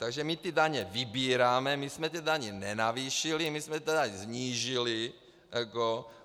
Takže my ty daně vybíráme, my jsme ty daně nenavýšili, my jsme je tedy snížili.